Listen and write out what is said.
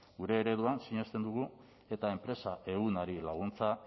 gure ereduan sinesten dugu eta enpresa ehunari laguntza